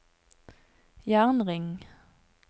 jernring